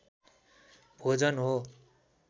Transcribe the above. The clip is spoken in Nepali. भोजन हो।